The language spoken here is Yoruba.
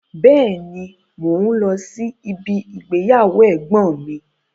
Bẹ́ẹ̀ni, mò ún lọ sí ibi igbéyàwó ẹ̀gbọ́n mi